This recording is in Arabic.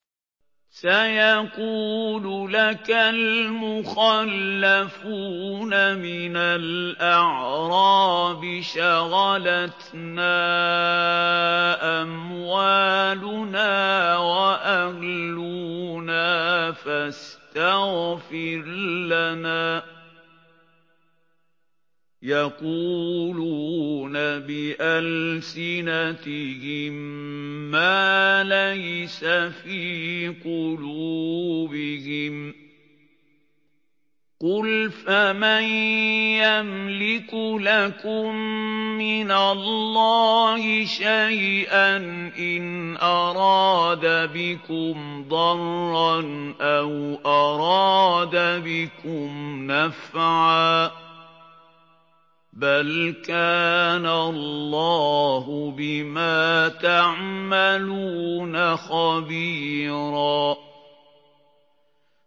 سَيَقُولُ لَكَ الْمُخَلَّفُونَ مِنَ الْأَعْرَابِ شَغَلَتْنَا أَمْوَالُنَا وَأَهْلُونَا فَاسْتَغْفِرْ لَنَا ۚ يَقُولُونَ بِأَلْسِنَتِهِم مَّا لَيْسَ فِي قُلُوبِهِمْ ۚ قُلْ فَمَن يَمْلِكُ لَكُم مِّنَ اللَّهِ شَيْئًا إِنْ أَرَادَ بِكُمْ ضَرًّا أَوْ أَرَادَ بِكُمْ نَفْعًا ۚ بَلْ كَانَ اللَّهُ بِمَا تَعْمَلُونَ خَبِيرًا